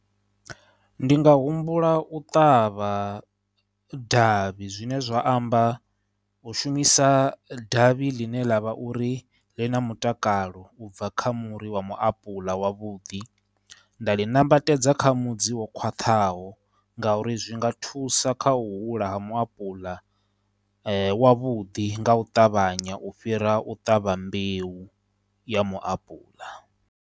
Ndi nga humbula u ṱavha davhi, zwine zwa amba u shumisa davhi ḽine ḽa vha uri ḽi na mutakalo u bva kha muri wa muapuḽa wavhuḓi, nda ḽi nambatedza kha mudzi wo khwaṱhaho ngauri zwi nga thusa kha u hula ha muapuḽa wavhuḓi nga u ṱavhanya u fhira u ṱavha mbeu ya muapuḽa.